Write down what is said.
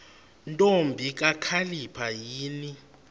ntombi kakhalipha yini